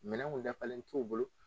Minɛnw dafalen t'u bolo